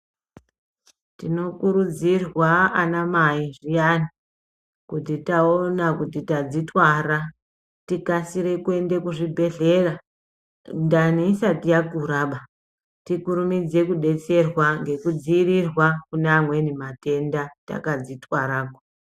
Tinokurudzirwa anamai zviyani kuti taona kuti tadzotwara tikasire kuenda kuzvibhendlera ndani isati yakuraba tikumidze kudetserwa ngekudziirirwa kune amweni matenda takadzitwara.